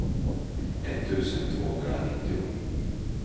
etttusen tvåhundranittio